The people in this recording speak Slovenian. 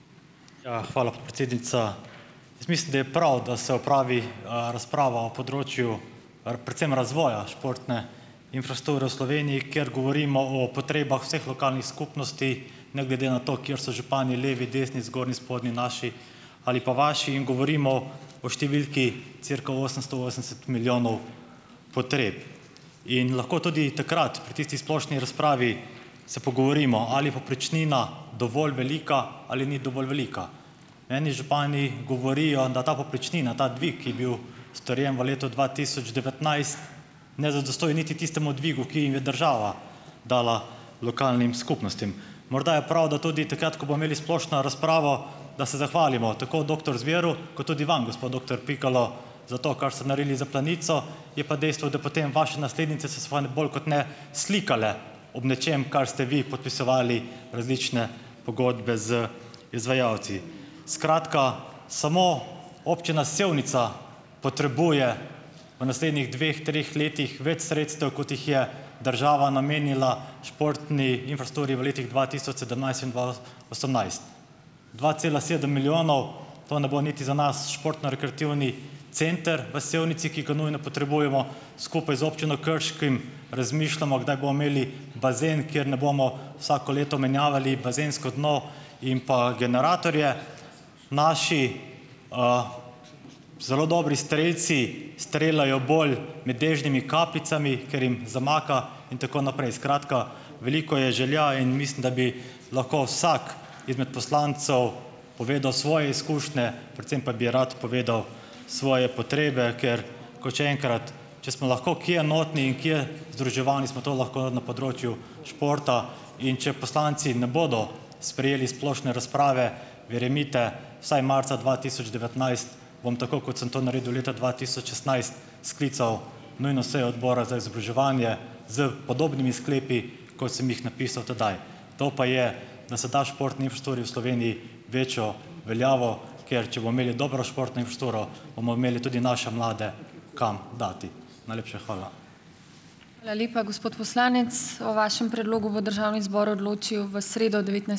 Ja, hvala, podpredsednica. Jaz mislim, da je prav, da se opravi, razprava o področju predvsem razvoja športne infrastrukture v Sloveniji, ker govorimo o potrebah vseh lokalnih skupnosti, ne glede na to, kjer so župani levi, desni, zgornji, spodnji, naši, ali pa vaši in govorimo o številki cirka osemsto osemdeset milijonov potreb. In lahko tudi takrat pri tisti splošni razpravi se pogovorimo, ali je povprečnina dovolj velika ali ni dovolj velika. Meni župani govorijo, da ta povprečnina, ta dvig, ki je bil strjen v letu dva tisoč devetnajst ne zadostuje niti tistemu dvigu, ki jim je država dala - lokalnim skupnostim. Morda je prav, da tudi takrat, ko bomo imeli splošno razpravo, da se zahvalimo tako doktor Zveru, kot tudi vam, gospod doktor Pikalo, za to, kar ste naredili za Planico. Je pa dejstvo, da potem vaše naslednice se svane bolj kot ne slikale ob nečem, kar ste vi podpisovali, različne pogodbe z izvajalci. Skratka, samo občina Sevnica potrebuje v naslednjih dveh, treh letih več sredstev, kot jih je država namenila športni infrastrukturi v letih dva tisoč sedemnajst in dva osemnajst. dva cela sedem milijonov, to ne bo niti za nas športno-rekreativni center v Sevnici, ki ga nujno potrebujemo. Skupaj z občino Krško razmišljamo, kdaj bomo imeli bazen, kjer ne bomo vsako leto menjavali bazensko dno in pa generatorje. Naši zelo dobri strelci streljajo bolj med dežnimi kapljicami, ker jim zamaka, in tako naprej. Skratka, veliko je želja in mislim, da bi lahko vsak izmed poslancev povedal svoje izkušnje, predvsem pa bi rad povedal svoje potrebe, ker, kot še enkrat, če smo lahko kje enotni in kje združevalni, smo to lahko na področju športa. In če poslanci ne bodo sprejeli splošne razprave, verjemite, vsaj marca dva tisoč devetnajst, bom tako, kot sem to naredil leta dva tisoč šestnajst, sklical nujno sejo Odbora za izobraževanje s podobnimi sklepi, kot sem jih napisal tedaj, to pa je, da se da športni infrastrukturi v Sloveniji večjo veljavo, ker če bomo imeli dobro športno infrastrukturo, bomo imeli tudi naše mlade kam dati. Najlepša hvala.